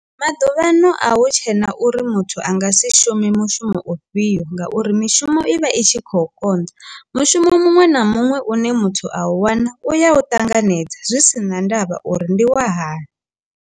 Maḓuvhano a hu tshena uri muthu anga si shume mushumo u fhio ngauri mishumo i vha i tshi khou konḓa mushumo muṅwe na muṅwe une muthu a u wana u ya u ṱanganedza zwi si na ndavha uri ndi wa hani.